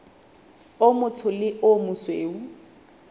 o motsho le o mosweu